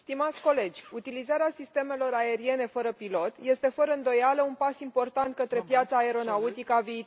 Utilizarea sistemelor aeriene fără pilot este, fără îndoială, un pas important către piața aeronautică a viitorului.